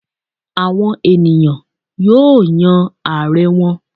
Àwon eniyan yóò yan Aare wọn